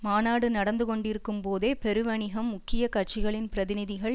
மாநாடு நடந்து கொண்டிருக்கும்போதே பெருவணிகம் முக்கிய கட்சிகளின் பிரதிநிதிகள்